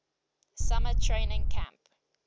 summer training camp